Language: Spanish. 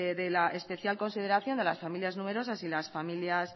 de la especial consideración a las familias numerosas y familias